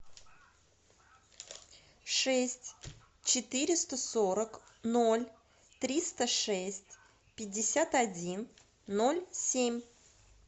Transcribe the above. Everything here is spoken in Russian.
шесть четыреста сорок ноль триста шесть пятьдесят один ноль семь